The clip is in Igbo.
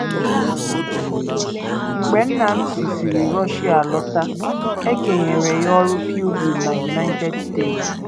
Mgbe nna m sisịrị Russia lọta, e kenyere ya ọrụ pilgrim na United States.